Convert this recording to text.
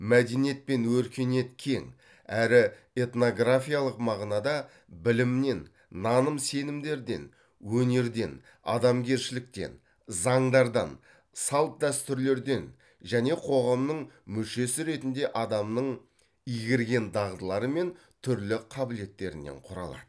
мәдениет пен өркениет кең әрі этнографиялық мағынада білімнен наным сенімдерден өнерден адамгершіліктен заңдардан салт дәстүрлерден және қоғамның мүшесі ретінде адамның игерген дағдылары мен түрлі қабілеттерінен құралады